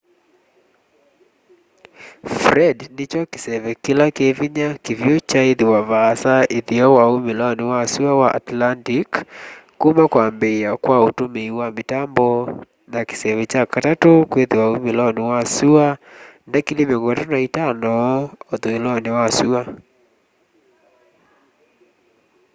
fred nĩkyo kĩseve kĩla kĩvĩnya kĩvyũ kyaaĩthĩwa vaasa ĩtheo na ũmĩlonĩ wa sũa wa atlantĩc kũma kwambĩa kwa ũtũmĩĩ wa mitambo na kĩseve kya katatũ kwĩthĩwa ũmĩlonĩ wa sũa ndikilii 35 ũthũĩlonĩ wa sũa